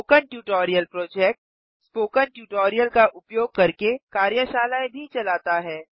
spoken tutorial project - spoken tutorial का उपयोग करके कार्यशालाएँ भी चलाता है